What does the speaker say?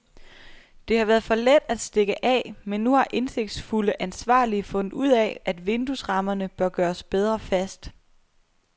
Det har været for let at stikke af, men nu har indsigtsfulde ansvarlige fundet ud af, at vinduesrammerne bør gøres bedre fast.